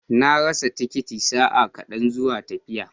Na rasa tikitin sa'a kaɗan zuwa tafiya.